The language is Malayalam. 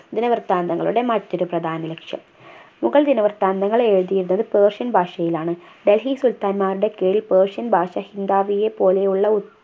ദിനവൃത്താന്തങ്ങളുടെ മറ്റൊരു പ്രധാന ലക്ഷ്യം മുഗൾ ദിനവൃത്താന്തങ്ങൾ എഴുതിയിരുന്നത് persian ഭാഷയിലാണ് ഡൽഹി സുൽത്താൻ മാരുടെ കീഴിൽ persian ഭാഷ ഹിന്ദാബിയെ പോലെയുള്ള ഒ